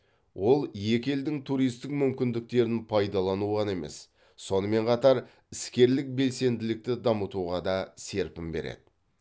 ол екі елдің туристік мүмкіндіктерін пайдалану ғана емес сонымен қатар іскерлік белсенділікті дамытуға да серпін береді